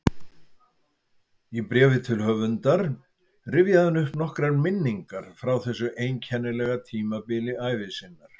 Í bréfi til höfundar rifjaði hann upp nokkrar minningar frá þessu einkennilega tímabili ævi sinnar